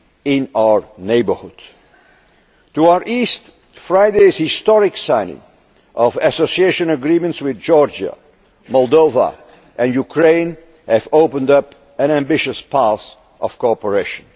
partner in our neighbourhood. To our East, Friday's historic signing of Association Agreements with Georgia, Moldova and Ukraine has opened up an ambitious path of cooperation.